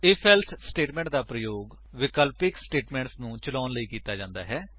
IF else statement ਦਾ ਪ੍ਰਯੋਗ ਵਿਕਲਪਿਕ ਸਟੇਟਮੇਂਟਸ ਨੂੰ ਚਲਾਉਣ ਲਈ ਕੀਤਾ ਜਾਂਦਾ ਹੈ